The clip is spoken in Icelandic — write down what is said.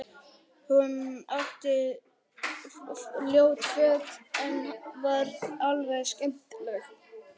Hún átti ljót föt en var alveg skemmtileg.